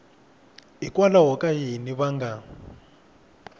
hikwalaho ka yini va nga